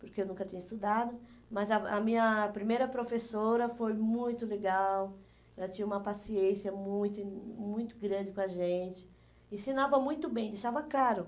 porque eu nunca tinha estudado, mas a a minha primeira professora foi muito legal, ela tinha uma paciência muito muito grande com a gente, ensinava muito bem, deixava claro.